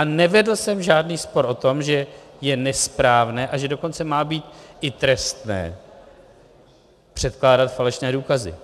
A nevedl jsem žádný spor o tom, že je nesprávné, a že dokonce má být i trestné předkládat falešné důkazy.